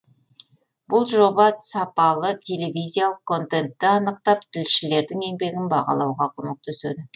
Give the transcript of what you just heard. бұл жоба сапалы телевизиялық контентті анықтап тілшілердің еңбегін бағалауға көмектеседі